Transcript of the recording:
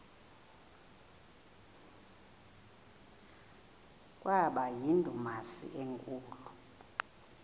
kwaba yindumasi enkulu